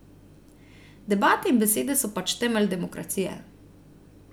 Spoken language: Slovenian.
Debate in besede so pač temelj demokracije ...